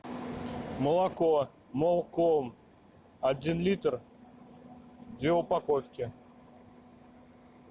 молоко молком один литр две упаковки